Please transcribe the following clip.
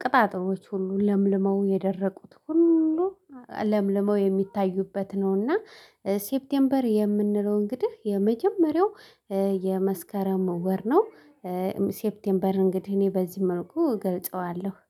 ቅጣጥሎች ሁሉ ለምልመው የደረቁት ሁሉ ለምልመው የሚታዩበት ነውና። ሴፕቴምበር የምንለው እንግዲህ የመጀመሪያው የመስከረም ወር ነው። ሴፕቴምበር እንግዲህ እኔ በዚህ መልኩ ገልጸዋለሁ